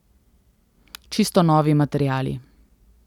Čisto novi materiali.